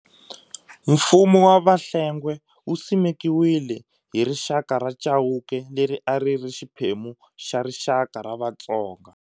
Mfumo wa Vahlengwe wu simekiwile hi rixaka ra Chauke, leri a ri ri xiphemu xa rixaka ra Vatsonga.